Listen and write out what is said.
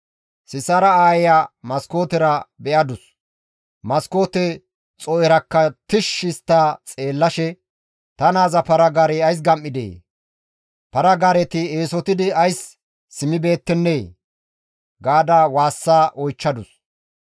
«Sisaara aayeya maskootera be7adus; maskoote xoo7erakka tishshi histta xeellashe, ‹Ta naaza para-gaarey ays gam7idee? Para-gaareti eesotidi ays simmibeettennee?› gaada waassa oychchadus.